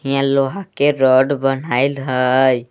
हियाँ लोहा के रड बन्हाइल हई।